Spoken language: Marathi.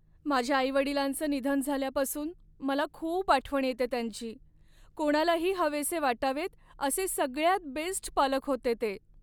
माझ्या आई वडिलांचं निधन झाल्यापासून मला खूप आठवण येते त्यांची. कोणालाही हवेसे वाटावेत असे सगळ्यात बेस्ट पालक होते ते.